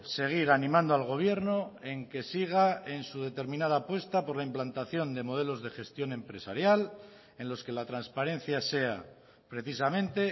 seguir animando al gobierno en que siga en su determinada apuesta por la implantación de modelos de gestión empresarial en los que la transparencia sea precisamente